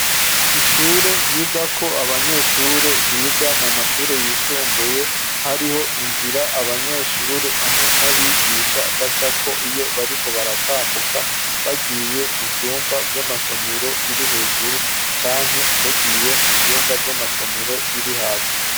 Ishure, ryigako abanyeshure, biga mu mashure yisumbuye; hariho inzira, abanyeshure hamwe n'abigisha, bacako, iyo bariko baratambuka, bagiye mu vyumba vy'amasomero, biri hejuru, canke bagiye mu vyumba, vy'amasomero, biri hasi.